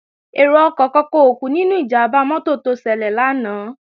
Èrò ọkọ̀ kankan ò kú nínú ìjàmbá mọ́tò tó ṣẹlẹ̀ lánàá